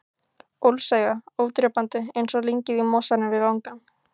Ólseiga, ódrepandi, einsog lyngið í mosanum við vangann.